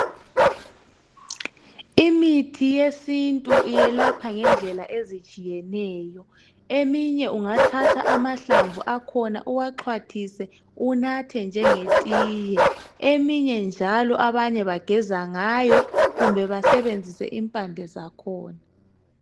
Imithi yesintu iyelapha ngendlela ezitshiyeneyo eminye ungathatha amahlamvu akhona uwaxhwathise unathe njenge tiye, eminye njalo abanye bageza ngayo kumbe basebenzise impande zakhona.